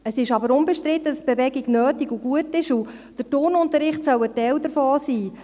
Es ist aber unbestritten, dass Bewegung nötig und gut ist, und der Turnunterricht soll ein Teil davon sein.